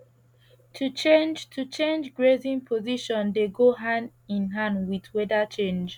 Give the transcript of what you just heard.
to change to change grazing position dey go hand in hand with weather change